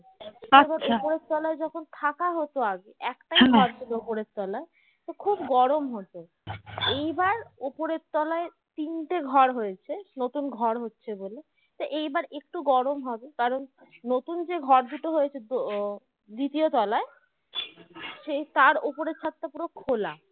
তাই এবার একটু গরম হবে কারণ নতুন যে ঘর দুটো হয়েছে দ্বিতীয় তোলাই সেই তার ওপরে ছাদটা পুরো খোলা